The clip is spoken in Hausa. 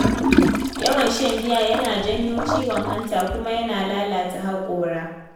Yawan shan giya yana janyo ciwon hanta kuma yana lalata haƙora.